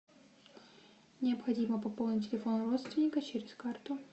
необходимо пополнить телефон родственника через карту